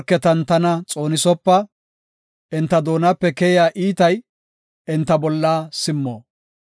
Ta morketan tana xoonisopa; enta doonape keyiya iitay enta bolla simmo.